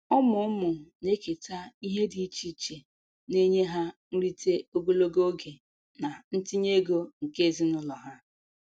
Ụmụ ụmụ na-eketa ihe dị iche iche, na-enye ha nrite ogologo oge na ntinye ego nke ezinụlọ ha.